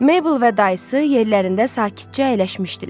Mabel və dayısı yerlərində sakitcə əyləşmişdilər.